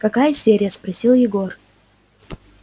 какая серия спросил егор